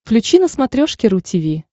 включи на смотрешке ру ти ви